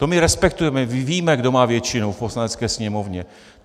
To my respektujeme, my víme, kdo má většinu v Poslanecké sněmovně.